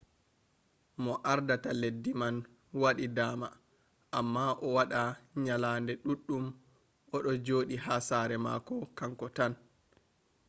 mo ardata leddi man waɗi dama amma o waɗa nyalaɗe ɗuɗɗum o ɗo joɗi ha sare mako kanko tan